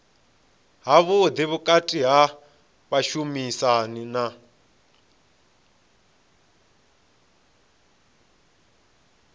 havhuḓi vhukati ha vhashumisani na